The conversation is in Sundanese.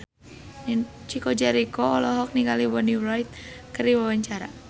Chico Jericho olohok ningali Bonnie Wright keur diwawancara